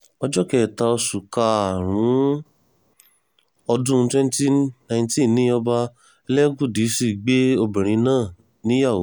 ọjọ́ kẹta oṣù karùn-ún ọdún 2019 ni ọba elégudisì gbé obìnrin náà níyàwó